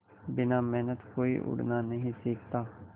बिना मेहनत के कोई उड़ना नहीं सीखता